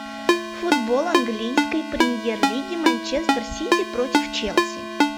футбол английской премьер лиги манчестер сити против челси